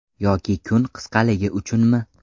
Yoki kun qisqaligi uchunmi?